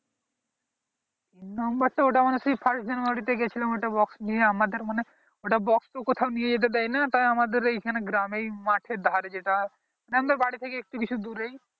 numner তো ওটা মানে সেই first january তে গিয়ে ছিলাম ওইটা box নিয়ে আমাদের মানে ওটা box তো কোথায় নিয়ে যেতে দেয় না তাই আমাদের এইখানে গ্রামে মাঠের ধারে যেতে হয় মানে আমাদের বাড়ি থেকে একটু কিছু দূরেই